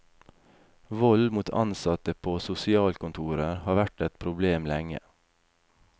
Vold mot ansatte på sosialkontorer har vært et problem lenge.